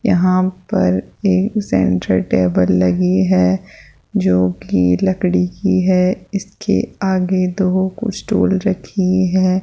यहां पर एक सेंटर टेबल लगी है जोकि लकड़ी की है इसके आगे दो स्टूल रखी है।